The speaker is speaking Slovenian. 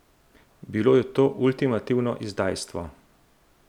Bilo je to ultimativno izdajstvo.